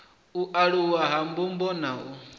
aluwa ha ndumbo na u